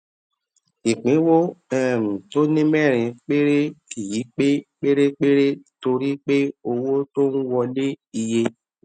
ìpínwó um tó ní mérin péré kì í pé pérépéré torí pé owó tó ń wọlé iye